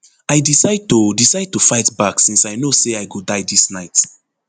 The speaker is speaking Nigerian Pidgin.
i decide to decide to fight back since i know say i go die dis night